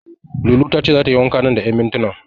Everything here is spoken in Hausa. Lulu tace zata yi wanka nan da ƴan mintinan.